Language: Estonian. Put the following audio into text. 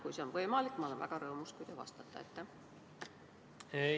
Kui see on võimalik, siis ma olen väga rõõmus, kui te vastate.